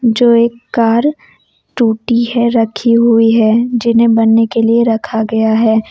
जो एक कार टूटी है रखी हुई है जिन्हें बनने के लिए रखा गया है।